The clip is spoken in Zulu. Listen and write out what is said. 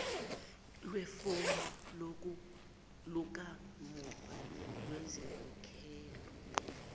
kwefomu lakamuva lezinkokhelo